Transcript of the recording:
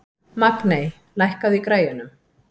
Magney, lækkaðu í græjunum.